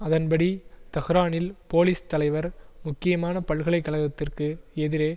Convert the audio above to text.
அதன் படி தஹ்ரானில் போலீஸ் தலைவர் முக்கியமான பல்கலை கழகத்திற்கு எதிரே